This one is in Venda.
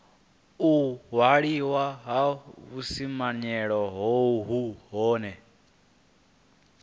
u waliwa ha vhusimamilayo hohe